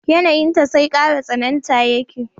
Yanayinta sai kara tsananta yake